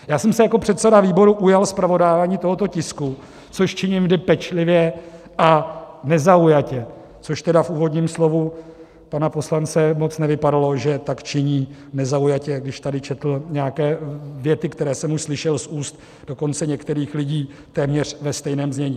Já jsem se jako předseda výboru ujal zpravodajování tohoto tisku, což činím vždy pečlivě a nezaujatě, což tedy v úvodním slovu pana poslance moc nevypadalo, že tak činí nezaujatě, když tady četl nějaké věty, které jsem už slyšel z úst dokonce některých lidí téměř ve stejném znění.